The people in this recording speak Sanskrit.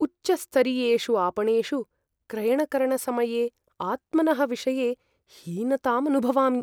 उच्चस्तरीयेषु आपणेषु क्रयणकरणसमये आत्मनः विषये हीनताम् अनुभवामि।